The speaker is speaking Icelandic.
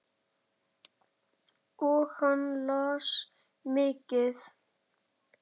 Og hann las mikið.